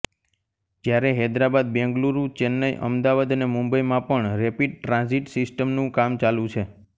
જ્યારે હૈદરાબાદ બેંગલુરુ ચેન્નાઈ અમદાવાદ અને મુંબઈમાં પણ રેપિડ ટ્રાન્ઝિટ સિસ્ટમનું કામ ચાલુ છે